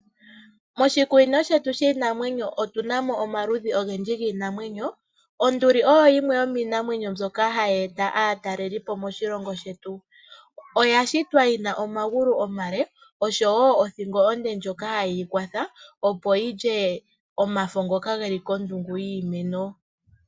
Moshikunino shetu shiinanwenyo otunamo omaludhi ogendji giinamwenyo. Onduli oyo yimwe yomiinamwenyo mbyoka hayi eta aatalelipo moshilongo shetu oyashitwa yina omagulu omale oshowo othingo onde ndjoka ha yeyi kwatha opo yilye omafo ngoka geli kondungu yiimeno.